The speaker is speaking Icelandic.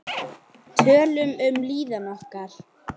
Hún þekkir hann ekki.